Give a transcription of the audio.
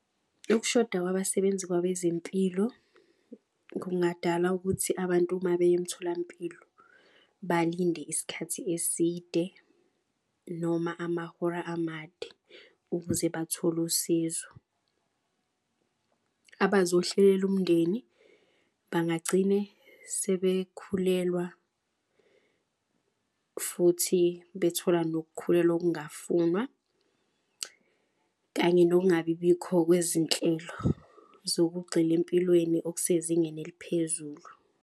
Ukushoda kwabasebenzi kwabezempilo kungadala ukuthi abantu uma beya emtholampilo balinde isikhathi eside. Noma amahora amade ukuze bathole usizo abazohlela umndeni bangagcine sebekhulelwa. Futhi bethola nokukhulelwa okungafuna kanye nokungabibikho kwezinhlelo. Zokugxila empilweni okusezingeni eliphezulu.